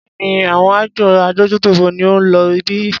Béèni, àwọn àjọ adójútòfò ni ó ń lo ibí.